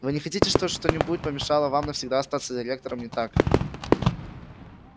вы не хотите что что-нибудь помешало вам навсегда остаться директором не так ли